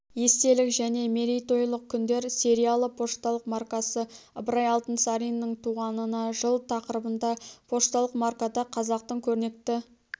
естелік және мерейтойлық күндер сериялы пошталық маркасы ыбырай алтынсариннің туғанына жыл тақырыбында пошталық маркада қазақтың көрнекті